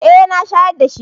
Eh na shayar da shi.